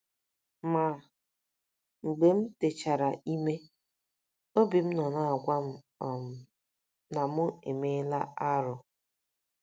Ma, mgbe m techara ime, obi m nọ na - agwa m um na mụ emeela arụ. ”